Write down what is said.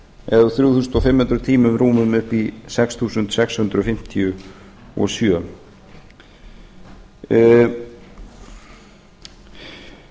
eða úr þrjú þúsund fimm hundruð tímum rúmum upp í sex þúsund sex hundruð fimmtíu og sjö ég